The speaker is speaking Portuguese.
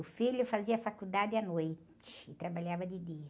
O filho fazia faculdade à noite e trabalhava de dia.